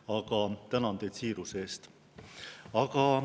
Aga tänan teid siiruse eest.